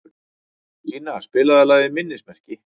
Ina, spilaðu lagið „Minnismerki“.